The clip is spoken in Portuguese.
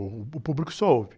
O, o público só ouve.